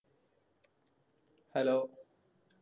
Hello